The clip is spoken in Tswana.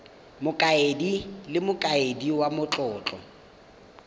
mokaedi le mokaedi wa matlotlo